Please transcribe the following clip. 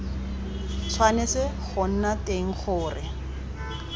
tshwanetse go nna teng gore